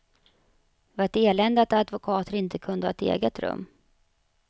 Det var ett elände att advokater inte kunde ha ett eget rum.